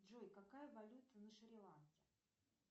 джой какая валюта на шри ланке